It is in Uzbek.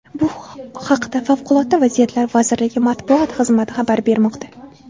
Bu haqda favqulodda vaziyatlar vazirligi matbuot xizmati xabar bermoqda .